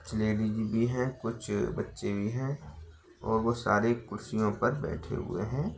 कुछ लेडिज भी हैं कुछ बच्चे भी हैं और वो सारे कुर्सियों पर बैठे हुए हैं।